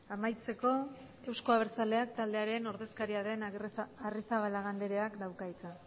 amaitzeko euzko abertzaleak taldearen ordezkaria den arrizabalaga andreak dauka hitza